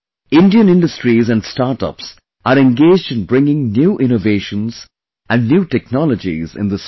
Indian industries and startups are engaged in bringing new innovations and new technologies in this field